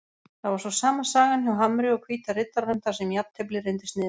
Það var svo sama sagan hjá Hamri og Hvíta Riddaranum þar sem jafntefli reyndist niðurstaðan.